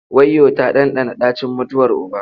Wayyo! ta ɗanɗana ɗacin mutuwar uba.